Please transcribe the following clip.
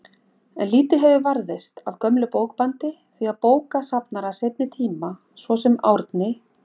En lítið hefur varðveist af gömlu bókbandi, því að bókasafnarar seinni tíma, svo sem Árni